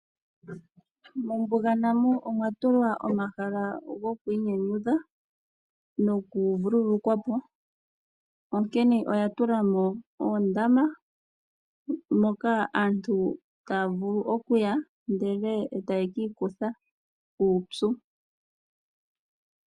Mombunga namo omwatulwa omahala gokwiinyanyudha noku vululukwapo onkene aantu oya tulamo oondama dhokumbwinda ndhono hadhi kuthapo uupyu.